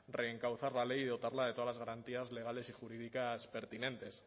reencauzar la ley y dotarla de todas las garantías legales y jurídicas pertinentes